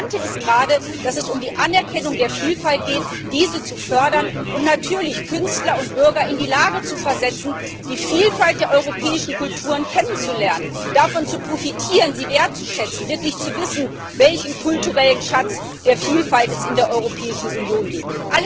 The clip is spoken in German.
Das Interessante ist gerade, dass es um die Anerkennung der Vielfalt geht. Es geht darum, diese zu fördern und natürlich Künstler und Bürger in die Lage zu versetzen, die Vielfalt der europäischen Kulturen kennenzulernen, davon zu profitieren, sie wertzuschätzen, wirklich zu wissen, welchen kulturellen Schatz der Vielfalt es in der Europäischen Union gibt.